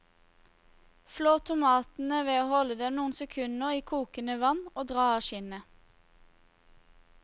Flå tomatene ved å holde dem noen sekunder i kokende vann og dra av skinnet.